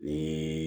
Ni